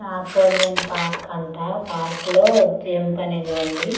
అపోలియన్ park అంట park లో jump అనేది ఉంది.